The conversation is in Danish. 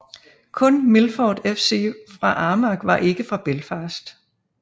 Kun Milford FC fra Armagh var ikke fra Belfast